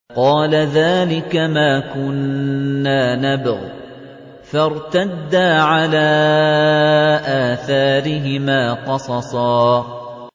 قَالَ ذَٰلِكَ مَا كُنَّا نَبْغِ ۚ فَارْتَدَّا عَلَىٰ آثَارِهِمَا قَصَصًا